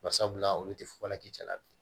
Barisabula olu tɛ fɔ la k'i cɛla bi